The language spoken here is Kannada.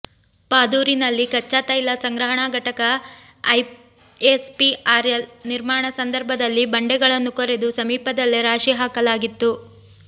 ಪಾದೂರಿನಲ್ಲಿ ಕಚ್ಚಾತೈಲ ಸಂಗ್ರ ಹಣಾ ಘಟಕ ಐಎಸ್ಪಿಆರ್ಎಲ್ ನಿರ್ಮಾಣ ಸಂದರ್ಭದಲ್ಲಿ ಬಂಡೆಗಳನ್ನು ಕೊರೆದು ಸಮೀಪದಲ್ಲೇ ರಾಶಿ ಹಾಕ ಲಾಗಿತ್ತು